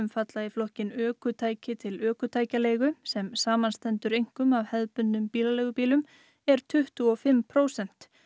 falla í flokkinn ökutæki til ökutækjaleigu sem samanstendur einkum af hefðbundnum bílaleigubílum er tuttugu og fimm prósent